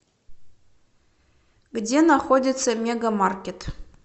где находится мега маркет